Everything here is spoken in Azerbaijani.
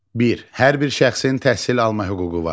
Bir, hər bir şəxsin təhsil alma hüququ var.